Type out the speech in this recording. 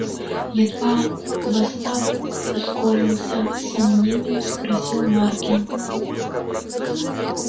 едва восстав ускорился с сомнением спросил маркин